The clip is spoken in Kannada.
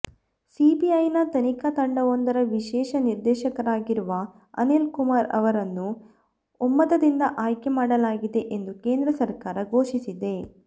ಸಿಬಿಐನ ತನಿಖಾ ತಂಡವೊಂದರ ವಿಶೇಷ ನಿರ್ದೇಶಕರಾಗಿರುವ ಅನಿಲ್ ಕುಮಾರ್ ಅವರನ್ನು ಒಮ್ಮತದಿಂದ ಆಯ್ಕೆ ಮಾಡಲಾಗಿದೆ ಎಂದು ಕೇಂದ್ರ ಸರ್ಕಾರ ಘೋಷಿಸಿದೆ